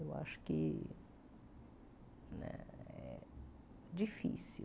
Eu acho que é difícil.